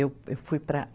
Eu, eu fui para